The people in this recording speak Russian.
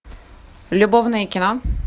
любовное кино